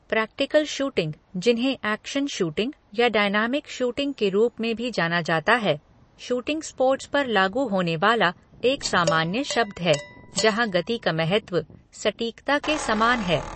Practical shooting, जिन्हें action shooting या dynamic shooting के रूप में भी जाना जाता है, शूटिंग स्पोर्ट्स पर लागू होने वाला एक सामान्य शब्द है जहाँ गति का महत्व सटीकता के समान है।